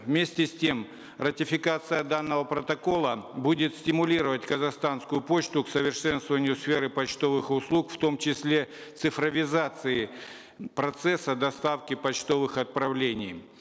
вместе с тем ратификация данного протокола будет стимулировать казахстанскую почту к совершенствованию сферы почтовых услуг в том числе цифровизации процесса доставки почтовых отправлений